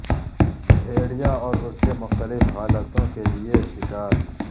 بھیڑیا اور اس کے مختلف حالتوں کے لئے شکار